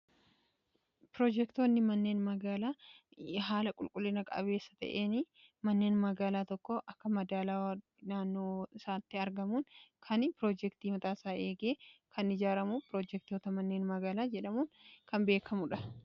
Piroojektoonni manneen magaalaa haala qulqullina qabeessa ta'een manneen magaalaa tokko akka madaalawwaa naannoo isaatti argamuun kan piroojektii mataasaa eegee kan ijaaramu piroojektoota manneen magaalaa jedhamuun kan beekamuudha.